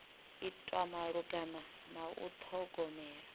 itwa malugana na u ṱhogomela